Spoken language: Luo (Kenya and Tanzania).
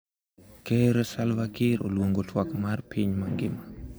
Ker Salva Kiir oluongo twak mar piny mangima